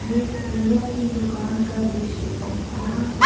ये फूलो की दूकान का द्रिश्य है यहाँ पर--